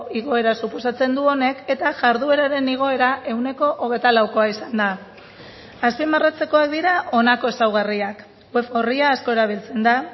igoera suposatzen du honek eta jardueraren igoera ehuneko hogeita laukoa izan da azpimarratzekoak dira honako ezaugarriak web orria asko erabiltzen da